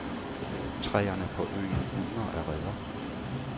Træerne på øen bugner af reder.